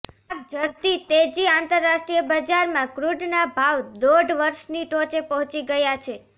આગ ઝરતી તેજીઆંતરરાષ્ટ્રીય બજારમાં ક્રૂડના ભાવ દોઢ વર્ષની ટોચે પહોંચી ગયા છે